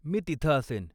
मी तिथं असेन.